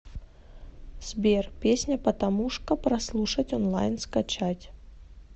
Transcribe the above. сбер песня патамушка прослушать онлайн скачать